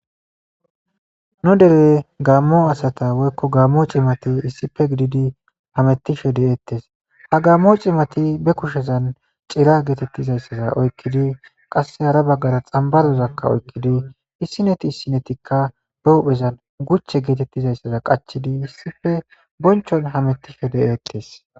Nu dere gaammo asata woykko gaammo cimati issife gididi hamettishe deeettes ha gaammo cimati be kushezan cira geetettizayssaza oykkidi qasse hara baggara xambarozakka oykkidi issineti issinetikka be huphezan guchche geetettizayssaza qachidi issife bonchon hamettishe de'eettes.